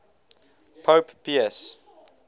pope pius